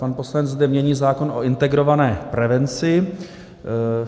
Pan poslanec zde mění zákon o integrované prevenci.